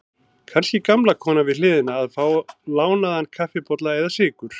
Kannski gamla konan við hliðina að fá lánaðan kaffibolla eða sykur.